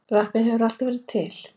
Rappið hefur alltaf verið til.